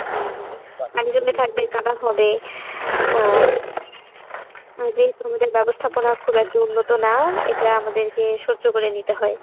হম হম পানি জমে থাকবে কাদা হবে আহ আর যেহেতু আমাদের ব্যাবস্থাপনা খুব একটা উন্নত না এটা আমাদেরকে সহ্য করে নিতে হয়।